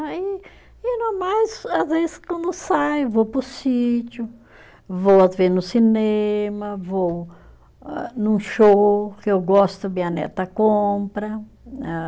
Aí, e no mais, às vezes, quando saio, vou para o sítio, vou às vezes no cinema, vou âh num show que eu gosto, minha neta compra, âh